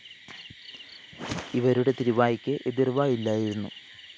ഇവരുടെ തിരുവായ്ക്ക് എതിര്‍വാ ഇല്ലായിരുന്നു